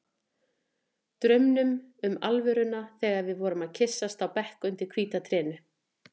Draumnum um alvöruna þegar við vorum að kyssast á bekk undir hvíta trénu.